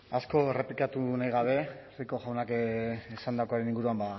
asko errepikatu nahi gabe rico jaunak esandakoaren inguruan